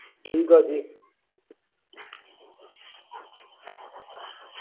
ਤੁਹਾਡਾ parcelcourier ਕਰ ਦਿੱਤਾ ਜਾਏਗਾ ਤੇ infuture ਇਕ festival ਅੱਗੇ ਆ ਰਿਹਾ